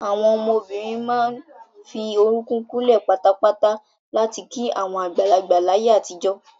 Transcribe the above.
Àwọn ọmọbìnrin máa ń fi orúkún kúnlẹ̀ patapata láti kí àwọn àgbàlagbà láyé àtijọ́.